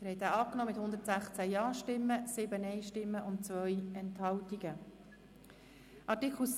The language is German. Sie haben dem Artikel mit 116 Ja- gegen 7 Nein-Stimmen bei 2 Enthaltungen zugestimmt.